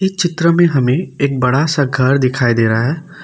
इ चित्र में हमें एक बड़ा सा घर दिखाई दे रहा है।